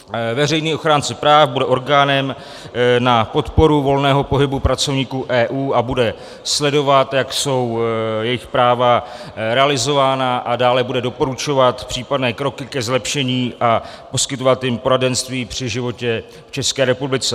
Veřejný ochránce práv bude orgánem na podporu volného pohybu pracovníků EU a bude sledovat, jak jsou jejich práva realizována, a dále bude doporučovat případné kroky ke zlepšení a poskytovat jim poradenství při životě v České republice.